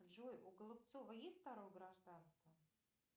джой у голубцова есть второе гражданство